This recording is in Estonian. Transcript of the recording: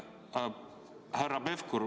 Härra Pevkur!